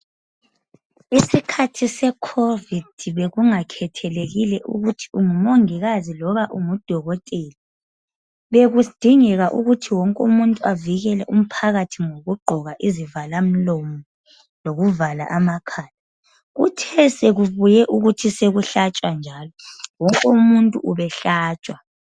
Isikhathi se Covid bekunga khethelekile ukuthi ungumongikazi loba ungudokotela bekudingeka ukuthi wonke umuntu avikele umphakathi ngokugqoka izivala mlomo lokuvala amakhala kuthe sokubuye ukuthi so kuhlatshwa njalo wonke umuntu ubehlatshwa.